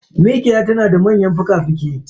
Mikiya tanada manyan fuka fuki